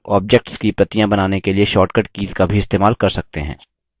हम objects की प्रतियाँ बनाने के लिए short कीज़ का भी इस्तेमाल कर सकते हैं